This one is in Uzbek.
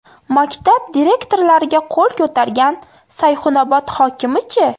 Maktab direktorlariga qo‘l ko‘targan Sayxunobod hokimi-chi?.